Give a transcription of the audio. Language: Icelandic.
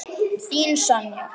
Þín Sonja.